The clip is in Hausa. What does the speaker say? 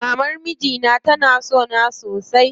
Maman mijina tana sona sosai.